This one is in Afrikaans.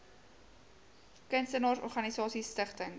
kunstenaars organisasies stigtings